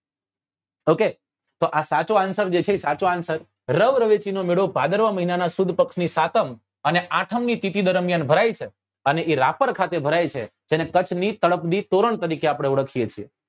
Okay તો આં answer જે છે એ સાચો answer રવ રવેચી નો મેળો ભાદરવા મહિના નાં સુદ પક્ષ ની સાતમ અને આઠમ ની તિથી દરમિયાન ભરાય છે અને એ રાપર ખાતે ભરાય છે તેને કચ્છ ની તળપદી તોરણ તરીકે આપડે ઓળખીએ છીએ